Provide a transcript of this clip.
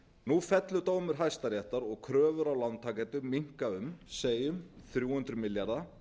nú fellur dómur hæstaréttar og kröfur á lántakendur minnka um segjum þrjú hundruð milljarða